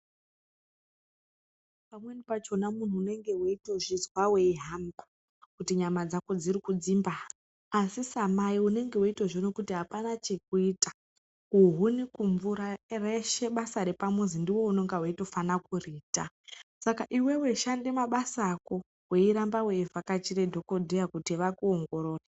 Pamwe pachona muntu unenge weitozvizwa weitohamba, kuti nyama dzako dzirikudzimba, asi samai unenge weitozviona kuti hapana chekuita. Kuhuni, kumvura, reshe basa repamuzi ndiwe unenge weitofane kuriita. Saka iwewe, shanda mabasa ako wei ramba wei vhakachira dhogodheya kuti vakuongorore.